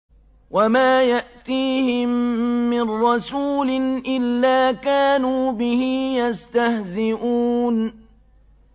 وَمَا يَأْتِيهِم مِّن رَّسُولٍ إِلَّا كَانُوا بِهِ يَسْتَهْزِئُونَ